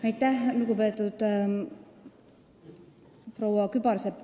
Aitäh, lugupeetud proua Kübarsepp!